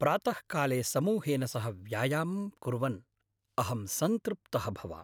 प्रातःकाले समूहेन सह व्यायामं कुर्वन् अहं सन्तृप्तः भवामि।